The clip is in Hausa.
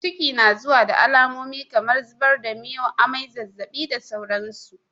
Ciki na zuwa da alamomi kamar zubar da miyau, amai, zazzaɓi da dai sauransu.